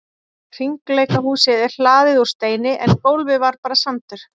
Hringleikahúsið er hlaðið úr steini en gólfið var bara sandur.